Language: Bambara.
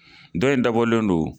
Dɔ in dabɔlen don